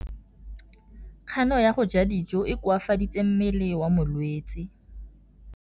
Kganô ya go ja dijo e koafaditse mmele wa molwetse.